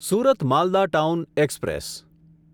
Surat Malda town express